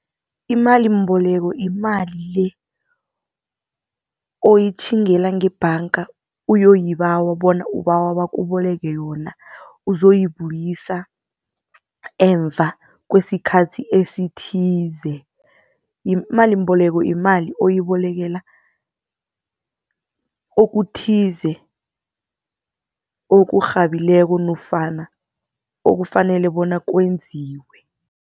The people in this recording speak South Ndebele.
Imalimboleko, yimali le oyitjhingela ngebhanga ayoyibawa bona ubawe bakuboleke yona uzoyibuyisa emva kwesikhathi esithize. Imalimboleko yimali oyibolekela okuthize, okurhabileko leyo nofana okufanele bona kwenziwe.